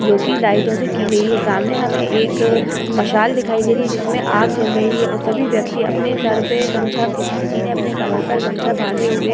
जो कि लाइटों से की गई है। सामने हमें एक मसाल दिखाई दे रही है जिसमें आग जल रही है और सभी व्यक्ति अपने सर पे गमछा किस किसी ने अपने कमर पर गमछा बांधे हुए --